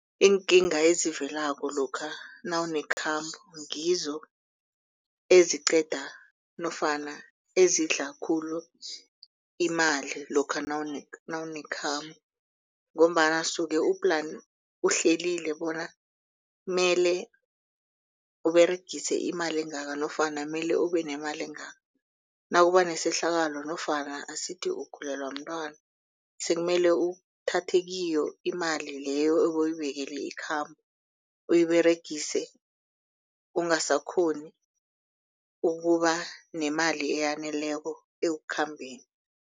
Iinkinga ezivelako lokha nawunekhambo ngizo eziqeda nofana ezidla khulu imali lokha nawunekhambo. Ngombana usuke uhlelile bona mele uberegise imali engaka nofana mele ube nemali engaka. Nakuba nesehlakalo nofana asithi ugulelwa mntwana sekumele uthathe kiyo imali leyo ebewuyibekele ikhambo uyiberegise ungasakghoni ukuba nemali eyaneleko ekhambeni.